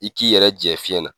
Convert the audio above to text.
I k'i yɛrɛ jɛ fiɲɛ na.